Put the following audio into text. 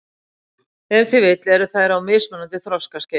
Ef til vill eru þær á mismunandi þroskaskeiði.